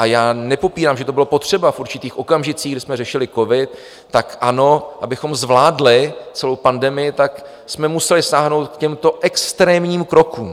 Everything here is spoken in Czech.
A já nepopírám, že to bylo potřeba v určitých okamžicích, kdy jsme řešili covid, tak ano, abychom zvládli celou pandemii, tak jsme museli sáhnout k těmto extrémním krokům.